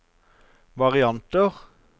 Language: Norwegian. varianter